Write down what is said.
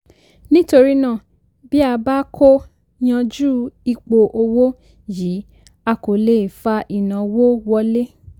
nítorí náà bí a bá kò yanjú ipò òwò yìí a kò lè fa ìnáwó wọlé.